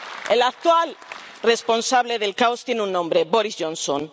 El actual responsable del caos tiene un nombre Boris Johnson.